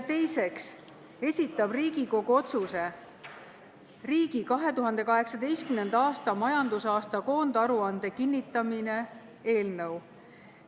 Teiseks esitab valitsus Riigikogu otsuse "Riigi 2018. aasta majandusaasta koondaruande kinnitamine" eelnõu.